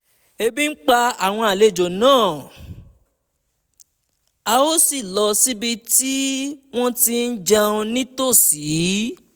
ebi ń pa àwọn àlejò náà a sì lọ síbi tí wọ́n ti ń jẹun ní tòsí